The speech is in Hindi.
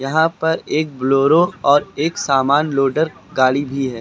यहां पर एक ब्लोरो और एक समान लोडर गाड़ी भी है।